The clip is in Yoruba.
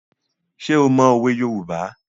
Ṣé o mọ òwe Yorùbá?